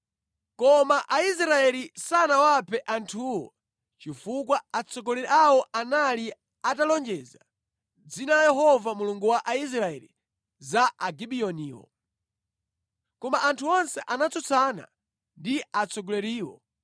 Koma Aisraeli sanawaphe anthuwo chifukwa atsogoleri awo anali atalonjeza mʼdzina la Yehova Mulungu wa Israeli za Agibiyoniwo. Koma anthu onse anatsutsana ndi atsogoleriwo.